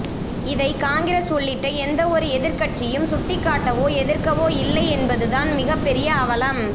இதை காங்கிரஸ் உள்ளிட்ட எந்தவொரு எதிர்கட்சியும் சுட்டிக்காட்டவோ எதிர்க்கவோ இல்லை என்பதுதான் மிகப்பெரிய அவலம்